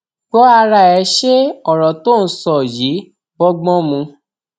gbọ ara ẹ ṣe ọrọ tó ò ń sọ yìí bọgbọn mu